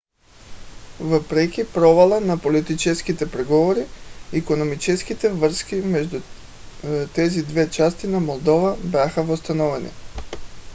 въпреки провала на политическите преговори икономическите връзки между тези две части на молдова бяха възстановени